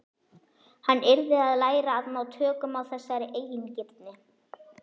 Hann yrði að læra að ná tökum á þessari eigingirni.